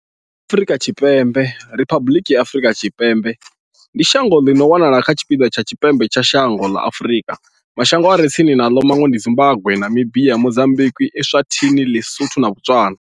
Afrika Tshipembe Riphabuḽiki ya Afrika Tshipembe ndi shango ḽi no wanala kha tshipiḓa tsha tshipembe tsha dzhango ḽa Afurika. Mashango a re tsini naḽo ndi Zimbagwe, Namibia, Mozambikwi, Eswatini, ḼiSotho na Botswana.